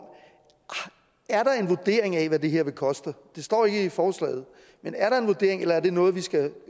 en vurdering af hvad det her vil koste det står ikke i forslaget men er der en vurdering eller er det noget vi skal